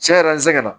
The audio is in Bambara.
Cɛn yɛrɛ la n sɛgɛn na